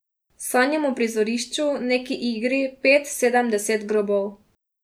Sanjam o prizorišču, neki igri, pet, sedem, deset grobov.